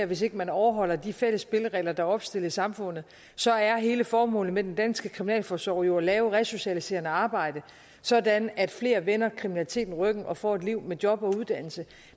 hvis ikke man overholder de fælles spilleregler der er opstillet i samfundet så er hele formålet med den danske kriminalforsorg jo at lave resocialiserende arbejde sådan at flere vender kriminaliteten ryggen og får et liv med job og uddannelse